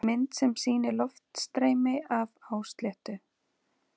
Mynd sem sýnir loftstreymi af hásléttu.